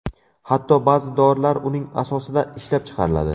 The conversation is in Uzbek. Hatto ba’zi dorilar uning asosida ishlab chiqariladi.